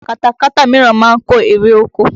Katakata míràn ma ń kó erè oko